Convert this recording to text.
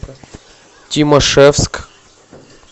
тимашевск